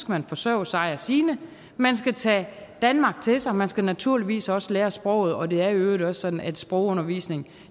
man forsørge sig og sine man skal tage danmark til sig man skal naturligvis også lære sproget og det er i øvrigt også sådan at sprogundervisning